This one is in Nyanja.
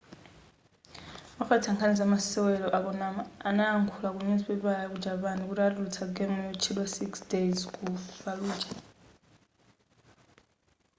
ofalitsa nkhani za masewera a konami analankhula ku nyuzipapala ya ku japan kuti atulutsa game yotchedwa six days ku falluja